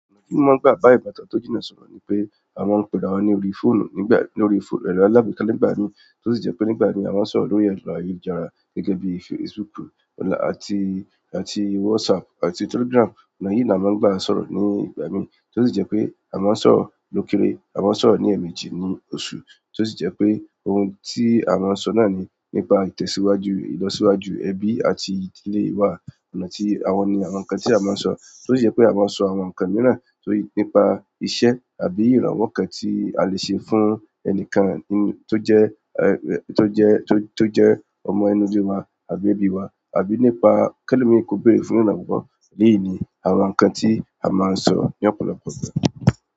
Ọ̀nà tí ń maa gbà bá ìbátan tó jìnà sọ̀rọ̀ ni pé à maa ń pera wa ní orí fóònù nígbà, lórí fóò, ẹ̀ro alágbèéká nígbà mií, tí ó sì jẹ́ pé nígbà mií à maa ń sọ̀rọ̀ lórí ẹrọ ayélujára gẹ́gẹ́ bíi Facebook ọnà, àti, àti WhatsApp àti Telegram. Ọ̀nà yìí ni a máa ń gbà sọ̀rọ̀ nígbà mií, tí ó sì jẹ́ pé à maa ń sọ̀rọ̀ lókere, à maa ń sọ̀rọ̀ ní ẹ̀ẹ̀mejì ní oṣù, tí ó sì jẹ́ pé ohun tí à maa ń sọ náà ni nípa ìtẹ̀síwájú, ìlọsíwájú ẹbí àti ìdílé wa. Ọ̀nà tí, àwọn ni àwọn nǹkan tí a máa ń sọ, tí ó sì jẹ́ pé à maa n sọ àwọn nǹkan mìíràn torí, nípa iṣẹ́ àbí ìrànwọ́ kan tí a le ṣe fún ẹnikan n, tó jẹ́ eh, tó jẹ́, tó jẹ́ ọmọ inule wa àbí ẹbi wa, àbí nípa kẹ́lomii ko beere fún ìrànwọ́. Èleyíi ni àwọn nǹkan tí a máa ń sọ́ ní ọ̀pọ̀lọpọ̀ ìgbà.